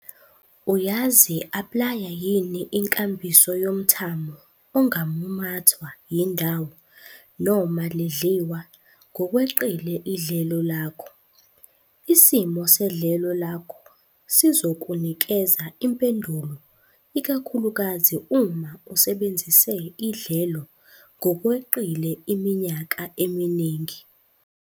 Uyazi-aplaya yini inkambiso yomthamo ongamumathwa yindawo noma lidliwa ngokweqile idlelo lakho? Isimo sedlelo lakho sizokunikeza impendulo ikakhulukazi uma usebenzise idlelo ngokweqile iminyaka eminingi.